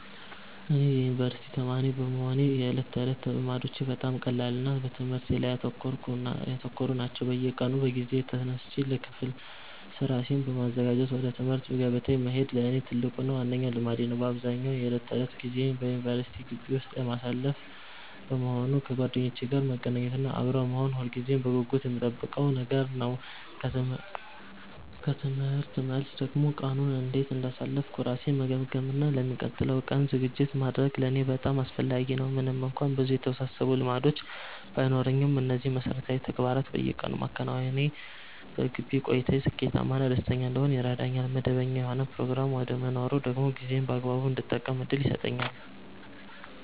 እኔ የዩኒቨርሲቲ ተማሪ በመሆኔ የዕለት ተዕለት ልማዶቼ በጣም ቀላልና በትምህርቴ ላይ ያተኮሩ ናቸው። በየቀኑ በጊዜ ተነስቼ ለክፍል ራሴን ማዘጋጀት እና ወደ ትምህርት ገበታዬ መሄድ ለእኔ ትልቁና ዋነኛው ልማዴ ነው። አብዛኛውን የዕለት ተዕለት ጊዜዬን በዩኒቨርሲቲ ግቢ ውስጥ የማሳልፍ በመሆኑ፣ ከጓደኞቼ ጋር መገናኘት እና አብሮ መሆን ሁልጊዜም በጉጉት የምጠብቀው ነገር ነው። ከትምህርት መልስ ደግሞ ቀኑን እንዴት እንዳሳለፍኩ ራሴን መገምገም እና ለሚቀጥለው ቀን ዝግጅት ማድረግ ለእኔ በጣም አስፈላጊ ነው። ምንም እንኳን ብዙ የተወሳሰቡ ልማዶች ባይኖሩኝም፣ እነዚህን መሠረታዊ ተግባራት በየቀኑ ማከናወኔ በግቢ ቆይታዬ ስኬታማ እና ደስተኛ እንድሆን ይረዳኛል። መደበኛ የሆነ ፕሮግራም መኖሩ ደግሞ ጊዜዬን በአግባቡ እንድጠቀም ትልቅ ዕድል ይሰጠኛል።